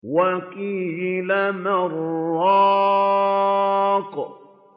وَقِيلَ مَنْ ۜ رَاقٍ